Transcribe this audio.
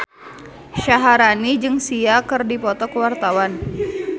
Syaharani jeung Sia keur dipoto ku wartawan